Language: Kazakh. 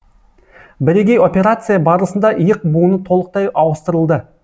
бірегей операция барысында иық буыны толықтай ауыстырылды